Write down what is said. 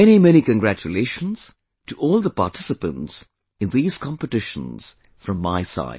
Many many congratulations to all the participants in these competitions from my side